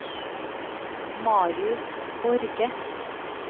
Marius Borge